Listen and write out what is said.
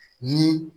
Ni